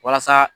Walasa